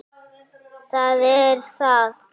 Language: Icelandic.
Það er það.